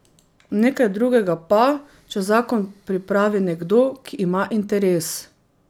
Nekaj drugega pa, če zakon pripravi nekdo, ki ima interes.